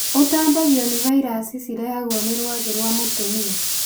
ũtambagio nĩ vairaci cirehagwo nĩ rwagĩ rwa mũtumia.